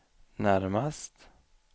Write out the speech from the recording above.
närmast